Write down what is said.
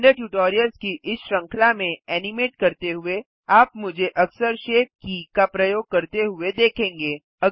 blender tutorials की इस श्रृंखला में एनिमेट करते हुए आप मुझे अक्सर शेप की का प्रयोग करते हुए देखेंगे